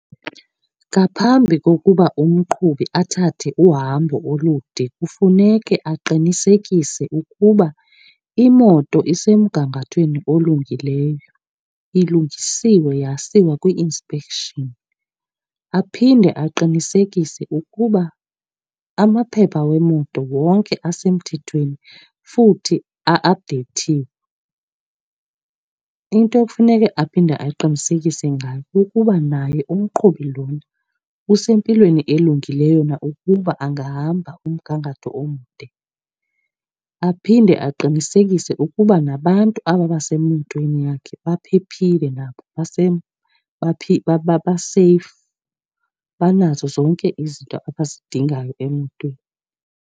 Ngaphambi kokuba umqhubi athathe uhambo olude kufuneke aqinisekise ukuba imoto isemgangathweni olungileyo, ilungisiwe yasiwa kwi-inspection. Aphinde aqinisekise ukuba amaphepha wemoto wonke asemthethweni futhi a-aphudeyithiwe. Into ekufuneka aphinde aqinisekise ngayo kukuba naye umqhubi lona usempilweni elungileyo na ukuba angahamba umgangatho omde. Aphinde aqinisekise ukuba nabantu aba basemotweni yakhe baphephile nabo, baseyifu, banazo zonke izinto abazidingayo emotweni.